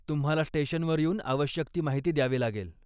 तुम्हाला स्टेशनवर येऊन आवश्यक ती माहिती द्यावी लागेल.